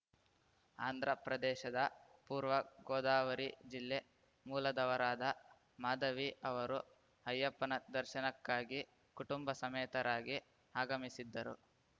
ಆಂಧ್ರಪ್ರದೇಶದ ಪೂರ್ವ ಗೋದಾವರಿ ಜಿಲ್ಲೆ ಮೂಲದವರಾದ ಮಾಧವಿ ಅವರು ಅಯ್ಯಪ್ಪನ ದರ್ಶನಕ್ಕಾಗಿ ಕುಟುಂಬ ಸಮೇತರಾಗಿ ಆಗಮಿಸಿದ್ದರು